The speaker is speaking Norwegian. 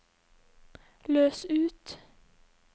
løs ut